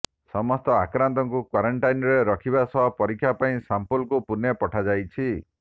ସମସ୍ତ ଆକ୍ରାନ୍ତଙ୍କୁ କ୍ୱାରେଣ୍ଟିନ୍ରେ ରଖିବା ସହ ପରୀକ୍ଷା ପାଇଁ ସାମ୍ପଲକୁ ପୁଣେ ପଠାଯାଇଛି